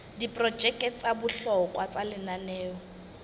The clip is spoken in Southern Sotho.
diprojeke tsa bohlokwa tsa lenaneo